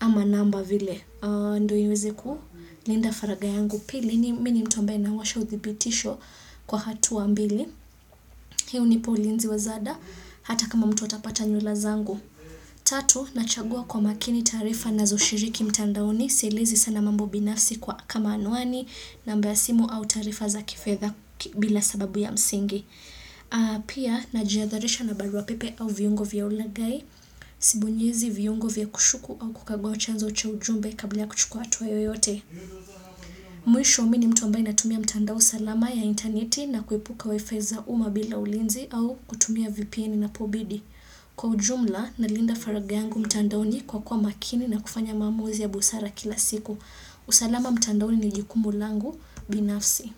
ama namba vile. Ndo iweze kulinda faragha yangu pili mimi ni mtu ambaye nawasha uthibitisho kwa hatua mbili. Hii hunipa ulinzi wa zada hata kama mtu atapata nywila zangu. Tatu, nachagua kwa makini taarifa nazo shiriki mtandaoni Sielezi sana mambo binafsi kwa kamanuani namba ya simu au taarifa za kifedha bila sababu ya msingi Pia, najiadharisha na barua pepe au viungo vya ulagai Sibonyezi viungo vya kushuku au kukagua chanzo cha ujumbe kabla kuchukua hatua yoyote Mwisho mimi ni mtu ambaye natumia mtandao salama ya interneti na kuepuka wifi za uma bila ulinzi au kutumia VPN inapobidi Kwa ujumla nalinda faragha yangu mtandaoni kwa kuwa makini na kufanya maamuzi ya busara kila siku. Usalama mtandaoni ni jukumu langu binafsi.